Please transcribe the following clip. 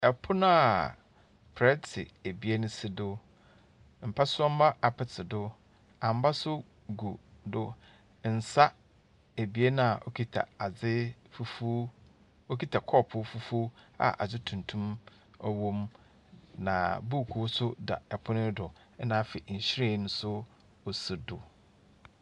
Apono a plɛte ebien si do. Mpasomma apete do. Amba nso gu do. Nsa abien a ɛkita ade fufuo, ɔkuta kɔɔpoo fufuo a ade tuntum ɔwɔ mu, na buukuu nso da ɔpono yi do na afei nhwiren nso ɔsi do.